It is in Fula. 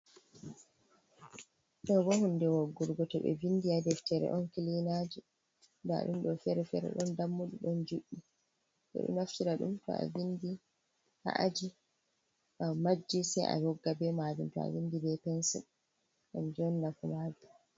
Ɗo ɓo hunɗe woggurgoto to ɓe vinɗi ha ɗeftere on kilinaji. Nɗa ɗumɗo fere fere ɗon ɗammuɗi ɗon juɗɗi. Ɓo ɗo naftira ɗum to vinɗi, ha aji, to amajji sai awogga ɓe majum to vinɗi ɓe pensil kanju on nafu majum.